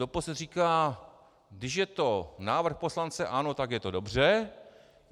Doposud říkal: Když je to návrh poslance ANO, tak je to dobře.